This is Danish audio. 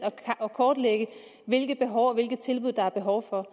at kortlægge hvilke behov og hvilke tilbud der er behov for